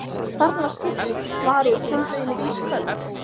Þarna var skilti: Varúð sundlaugin er ísköld